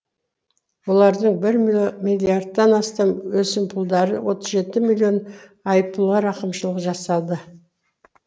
олардың бір миллиардтан астам өсімпұлдары отыз жеті миллион айыппұлға рақымшылық жасады